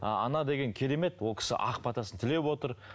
а ана деген керемет ол кісі ақ батасын тілеп отыр